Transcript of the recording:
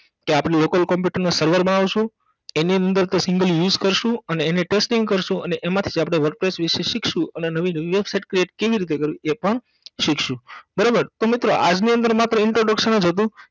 કે આપણે local computer નાં server માં આવસું એની અંદર તે single use કરસું અને એને testing કરસું અને એમાંથીજ આપણે wordpress વિશે શિખશું અને નવીજ website Create કેવી રીતે કરવી એ પણ શિખશું બરોબર તો મિત્રો આજની અંદર માત્ર Introduction જ હતું.